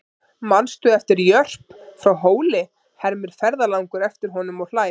Manstu eftir Jörp frá Hóli, hermir ferðalangur eftir honum og hlær.